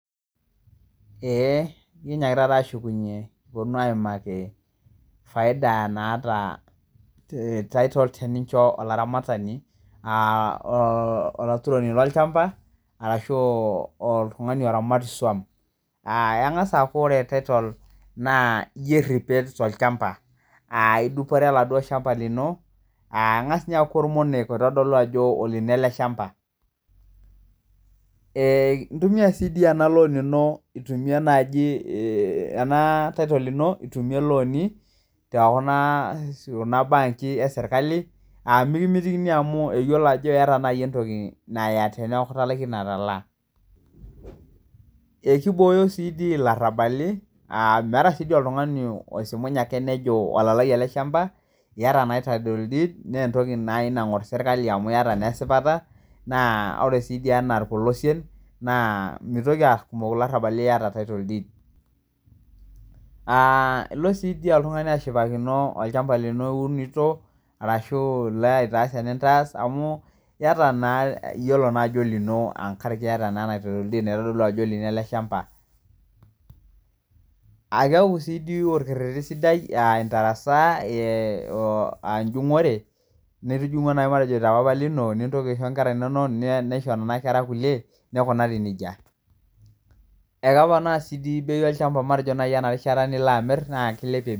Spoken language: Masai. Eh kinyiakita taa ashukunyie kipuonu aaimaki faida maata olchani tenincho olaramatani, olaturoni lolchamba aashu oltung'ani oramat iswam. Kengas' aaku kore title naa ijo erepet tolchamba, engas aaku idupore oladuo shamba lino, kengas aaku ormoniek lino ele shamba intumia sii ena loan ino ena title ino itumie ilooni tekuna benkii esirkali, naa mikimitikini amu eyiolo naji entoki naya teneaku italaikine atalaa. Ekibooyo sii dii ilarabali ah meeta sii dii oltung'ani oisimunye ake nejo olalai ele shamba, keeta naa title deed naingor sirkali amu iata naa esipata naa kore sii dii enaa irpolosien mitoki aaku kumok ilarrabali liatw title deed. Uh ilo sii dii oltung'ani ashumakino olchamba lino liunito arashu ilo aitaas enintaas amu keeta naa iyiolo naa ajo olino tenkaraki naa ena title deed naitodolu ajo olino ele shamba. Keaku sii dii orkereri sidai aashu enjungore, nintijingua naji matejo te papa lino nintoki aisho nkerra inono, nisho nena kera kulie neikunari nejia. Keponaa sii dii olchamba matejo ena rishata nilo aamir.